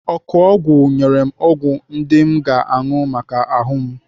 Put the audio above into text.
Ọkụọgwụ nyere m ọgwụ ndị m ga-anụ maka ahụ m.